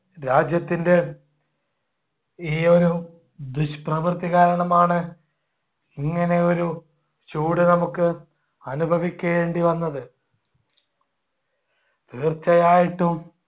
രാജ്യത്തിൻടെ ഈ ഒരു ദുഷ്പ്രവർത്തി കാരണമാണ് ഇങ്ങനെയൊരു ചൂട് നമുക്ക് അനുഭവിക്കേണ്ടി വന്നത്. തീർച്ചയായിട്ടും